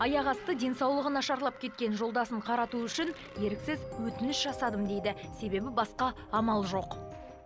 аяқ асты денсаулығы нашарлап кеткен жолдасын қарату үшін еріксіз өтініш жасадым дейді себебі басқа амал жоқ